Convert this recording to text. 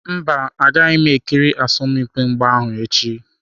Mba, agaghị m ekiri asọmpi mgba ahụ echi.